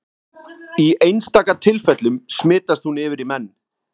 Í einstaka tilfellum smitast hún yfir í menn.